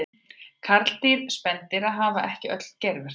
Karldýr spendýra hafa ekki öll geirvörtur.